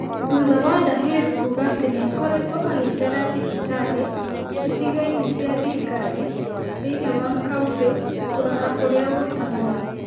thutha wa Dahir kuuga atĩ nĩ akoretwo agĩceera thibitarĩ itigaine cia thirikari thĩinĩ wa kauntĩ kũrora ũria gũtarie.